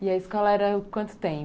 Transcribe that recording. E a escola era quanto tempo?